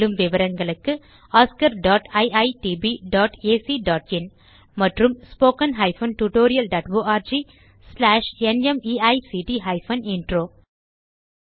மேலும் விவரங்களுக்கு oscariitbacஇன் மற்றும் spoken tutorialorgnmeict இன்ட்ரோ